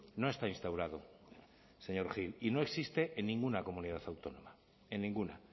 no está instaurado señor gil y no existe en ninguna comunidad autónoma en ninguna